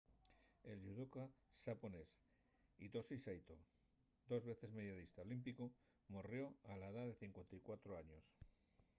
el yudoca xaponés hitoshi saito dos veces medallista olímpicu morrió a la edá de 54 años